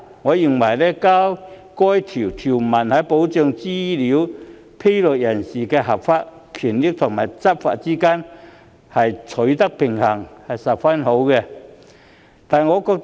我認為，加入此條文，便能在保障資料披露人士的合法權益和執法之間取得平衡，實屬合宜。